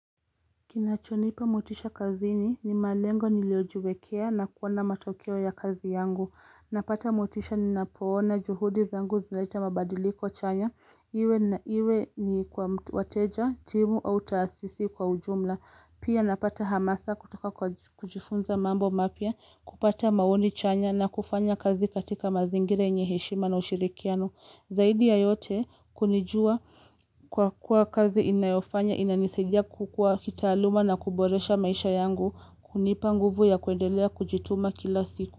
Kinachonipa motisha kazini ni malengo niliojiwekea na kuona matokeo ya kazi yangu. Napata motisha ninapoona juhudi zangu zinaleta mabadiliko chanya, iwe Iwe ni kwa wateja timu au taasisi kwa ujumla. Pia napata hamasa kutoka kwa kujifunza mambo mapya kupata maoni chanya na kufanya kazi katika mazingira yenye heshima na ushirikiano. Zaidi ya yote kunijuwa kwa kuwa kazi inayofanya inanisaidia kukua kitaaluma na kuboresha maisha yangu, kunipa nguvu ya kuendelea kujituma kila siku.